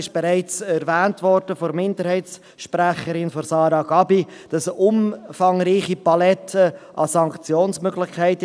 Wie bereits von der Minderheitssprecherin Sara Gabi erwähnt worden ist, gibt es in diesem Gesetz zudem eine umfangreiche Palette von Sanktionsmöglichkeiten.